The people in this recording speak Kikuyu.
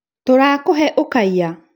tũrakũhe ũkaiya?